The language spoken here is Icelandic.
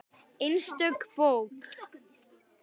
Einstök bók.